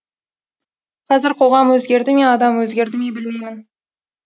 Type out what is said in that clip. қазір қоғам өзгерді ме адам өзгерді ме білмеймін